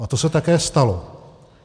A to se také stalo.